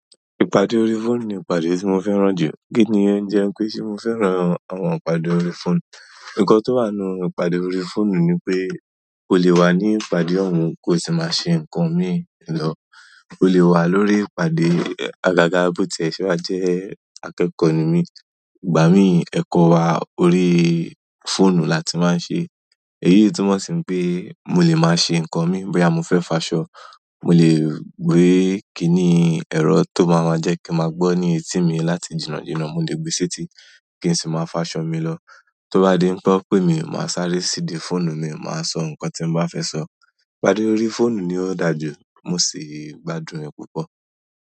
Ìpàdé orí fóònù ni ìpàdé tí mo fẹ́ràn jù. Kí ni ń jẹ pé ṣé mo fẹ́ràn àwọn ìpàdé orí fóònù? Ǹkan tó wà nínú ìpàdé orí fóònù ni pé o lè wà ní ìpàdé ohun ki o sì máa ṣe ǹkan mií lọ. O lè wà lórí ìpàdé, àgàgà bó ti ẹ̀ ṣe wa jẹ́ akẹ́kọ̀ọ́ ní mi, ìgbà mìí, ẹ̀kọ́ wa orí fóònù la tí máa ń ṣe. Èyí n túmọ̀ si pé mo lè máa ṣe ǹkan mii, bóyá mo fẹ́ fo aṣọ, mo lè gbé kíni ẹ̀rọ tó máa ma jẹ́ kí n maa gbọ́ ní etí mi láti jìnnà jìnnà, mo lè gbé sí eti, kí n sì máa fo àṣọ mi lọ. Tó bá di wipé won pe mi, màá sáré sí idi fóònù mi, màá sọ ǹkan tí mo bá fẹ́ sọ. Ìpàdé orí fóònù ni ó dàa jù, mo sì gbádùn rẹ̀ púpọ̀.